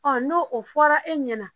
n'o o fɔra e ɲɛna